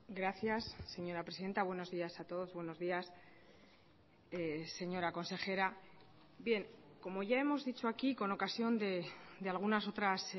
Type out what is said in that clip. gracias señora presidenta buenos días a todos buenos días señora consejera bien como ya hemos dicho aquí con ocasión de algunas otras